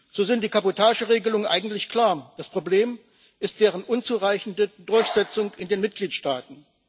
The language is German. So sind die Kabotage Regelungen eigentlich klar, das Problem ist deren unzureichende Durchsetzung in den Mitgliedstaaten.